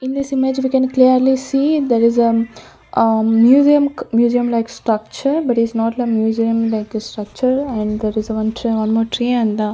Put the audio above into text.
In this image we can clearly see there is a museum museum like structure but is not a museum like a structure and there is one tree one more tree and the--